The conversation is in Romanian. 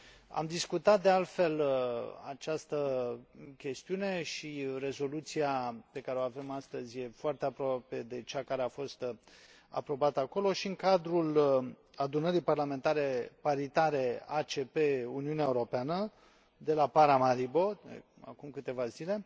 Am discutat, de altfel, această chestiune și rezoluția pe care o avem astăzi e foarte aproape de cea care a fost aprobată acolo, și în cadrul Adunării Parlamentare Paritare ACP Uniunea Europeană de la Paramaribo, de acum câteva zile.